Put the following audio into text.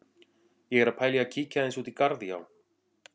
Ég er að pæla í að kíkja aðeins út í garð, já.